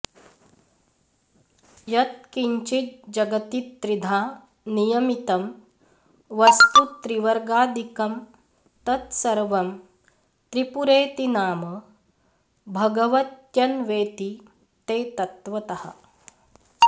यत्किञ्चिज्जगति त्रिधा नियमितं वस्तु त्रिवर्गादिकं तत्सर्वं त्रिपुरेति नाम भगवत्यन्वेति ते तत्त्वतः